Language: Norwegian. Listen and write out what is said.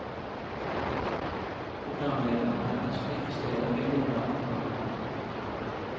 Programlederne ønsket ikke å stille opp i noen av programmene.